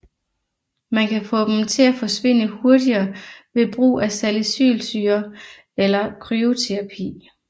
Man kan få dem til at forsvinde hurtigere ved brug af salicylsyre eller kryoterapi